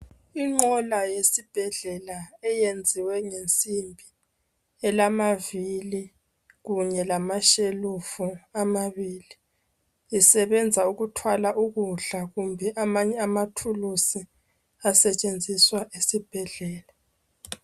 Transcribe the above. Inqola yesibhedlela eyenziwe ngensimbi ilamavili kunye lamashelufu amabili esebenza ukuthwala ukudla kumbe amanye amathuluzi asetshenziswa esibhedlela